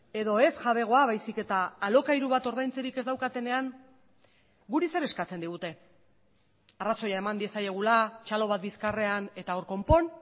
edo ez jabegoa baizik eta alokairu bat ordaintzerik ez daukatenean guri zer eskatzen digute arrazoia eman diezaiegula txalo bat bizkarrean eta hor konpon